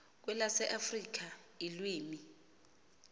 kwelase afrika ilwimi